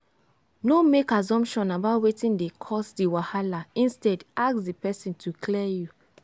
no make assumption about wetin dey cause di wahala instead ask di person to clear you